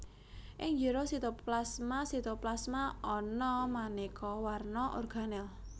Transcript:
Ing njero sitoplasmaSitoplasma ana manéka warna organel